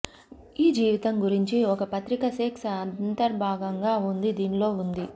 ఈ జీవితం గురించి ఒక పత్రిక సెక్స్ అంతర్భాగంగా ఉంది దీనిలో ఉంది